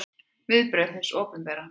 Viðbrögð hins opinbera